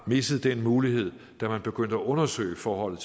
missede den mulighed da man begyndte at undersøge forholdet